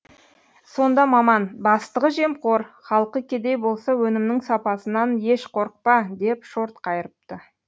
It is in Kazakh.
сонда маман бастығы жемқор халқы кедей болса өнімнің сапасынан еш қорқпа деп шорт қайырыпты